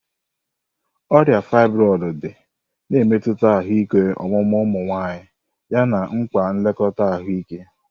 Ọrịa fibroids dị, na-emetụta ahụike ọmụmụ ụmụ nwanyị yana mkpa nlekọta ahụike.